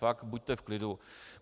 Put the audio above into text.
Fakt, buďte v klidu.